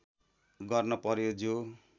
गर्न पर्‍यो जो